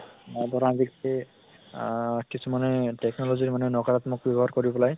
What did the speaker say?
আহ ধৰা আহ কিছুমানে technology মানে নকৰাত্মক ব্য়ৱ্হাৰ কৰি পেলাই